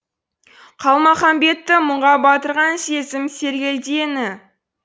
қалмаханбетті мұңға батырған сезім сергелдеңі